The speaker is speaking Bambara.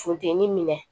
Funteni minɛ